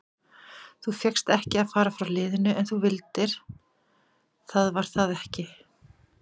Þú fékkst ekki að fara frá liðinu en þú vildir það var það ekki?